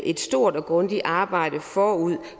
et stort og grundigt arbejde forud